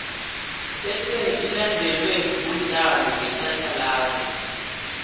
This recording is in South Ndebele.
bese ilandelwe mudlalo wetjhatjhalazi